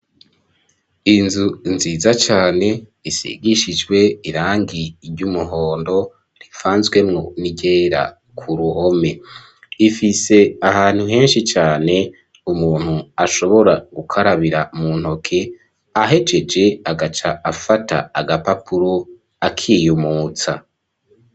Inzu nziza cane isigishijwe irangi ry'umuhondo rivanzwemwo n'iryera ku ruhome, ifise ahantu henshi cane umuntu ashobora gukarabira mu ntoke ahejeje agaca afata agapapuro akiyumutsa.